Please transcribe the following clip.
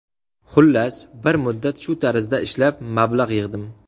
Xullas, bir muddat shu tarzda ishlab, mablag‘ yig‘dim.